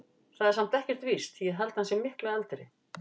Það er samt ekkert víst. ég held að hann sé miklu eldri.